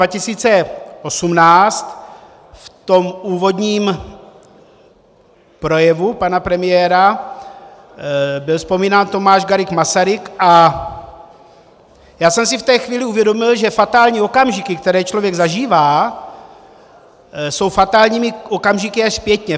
V tom úvodním projevu pana premiéra byl vzpomínán Tomáš Garrigue Masaryk a já jsem si v té chvíli uvědomil, že fatální okamžiky, které člověk zažívá, jsou fatálními okamžiky až zpětně.